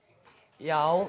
já